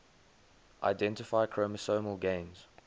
identify chromosomal gains